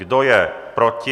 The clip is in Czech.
Kdo je proti?